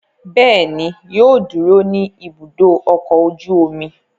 Bẹ́ẹ̀ ni, yóò dúró ní Ibùdó-ọkọ̀ ojú-omi.